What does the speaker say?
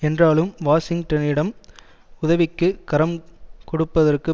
என்றாலும் வாஷிங்டனிடம் உதவிக்கு கரம் கொடுப்பதற்கு